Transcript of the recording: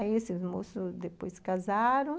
Aí esses moços depois se casaram.